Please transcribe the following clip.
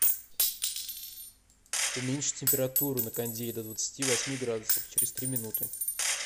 уменьши температуру на кондее до двадцати восьми градусов через три минуты